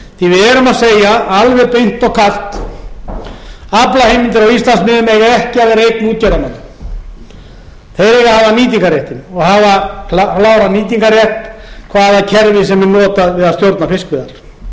að segja alveg beint og kalt aflaheimildir á íslandsmiðum eiga ekki að vera eign útgerðarmanna þeir eiga að hafa nýtingarréttinn og hafa kláran nýtingarrétt hvaða kerfi sem er notað við að stjórna fiskveiðum við þurfum líka